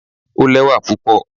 o lẹwa pupọ